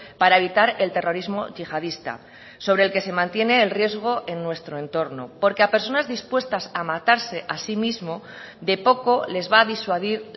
para evitar el terrorismo yihadista sobre el que se mantiene el riesgo en nuestro entorno porque a personas dispuestas a matarse así mismo de poco les va a disuadir